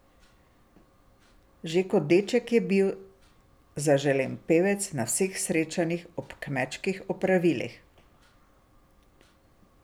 Že kot deček je bil zaželen pevec na vseh srečanjih ob kmečkih opravilih.